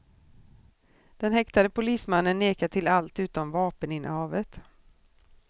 Den häktade polismannen nekar till allt utom vapeninnehavet.